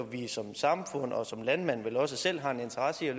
vi som samfund og som landmanden vel også selv har en interesse i at